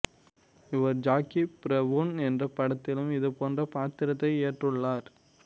இவர் Jackie Brown என்ற படத்திலும் இது போன்ற பாத்திரத்தை ஏற்றுள்ளார்